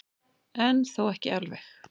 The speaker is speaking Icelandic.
En þó ekki alveg.